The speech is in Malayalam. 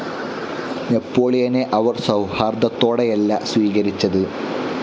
നെപോളിയനെ അവർ സൗഹാർദ്ദത്തോടെയല്ല സ്വീകരിച്ചത്.